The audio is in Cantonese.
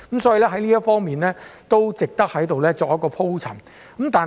所以，這方面是值得我在此作出鋪陳的。